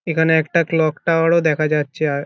এখানে একটা clock tower ও দেখা যাচ্ছে আ--